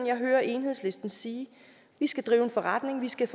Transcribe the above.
jeg hører enhedslisten sige vi skal drive forretning vi skal